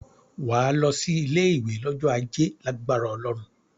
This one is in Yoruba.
Wà á lọ sí ilé-ìwé lọ́jọ́ Ajé lágbára Ọlọ́run.